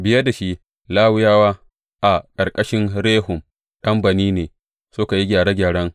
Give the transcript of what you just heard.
Biye da shi, Lawiyawa a ƙarƙashin Rehum ɗan Bani ne suka yi gyare gyaren.